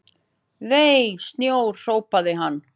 Vei, snjór hrópaði hann.